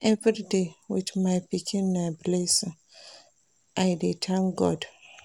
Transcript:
Everyday wit my pikin na blessing, I dey tank God.